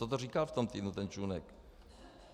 Co to říkal v tom týdnu ten Čunek?